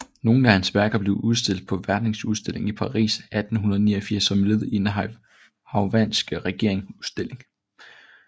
Nogle af hans værker blev udstillet på verdensudstillingen i Paris 1889 som led i den hawaiianske regerings udstilling